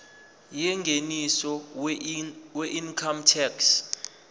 yengeniso weincome tax